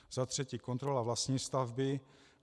Za třetí kontrola vlastní stavby.